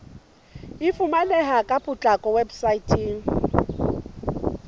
e fumaneha ka potlako weposaeteng